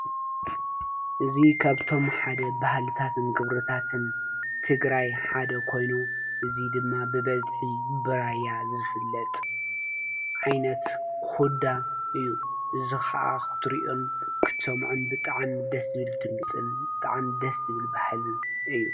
እዙ ከብቶም ሓደ ባህልታትን ግብርታትን ትግራይ ሓደ ኮይኑ እዙይ ድማ ብበዝሒ ብራያ ዝፍለጥ ዓይነት ዂዳ እዩ ዝኸዓ ኽትሪዮን ክተምዖን ብጠዓም ደስብል ድምፅን ብጥዓም ደስብል ባሕልን እዩ።